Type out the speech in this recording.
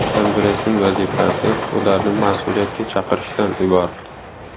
Kongressning vazifasi ularni mas’uliyatga chaqirishdan iborat.